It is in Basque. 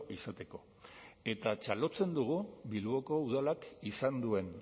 izateko eta txalotzen dugu bilboko udalak izan duen